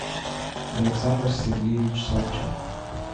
александр сергеевич салчак